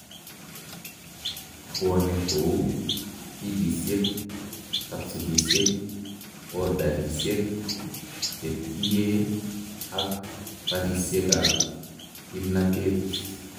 Bwone kouu pillisiek, capsulisiek, powderisiek, chekiyee ak barisiek ab kimnatet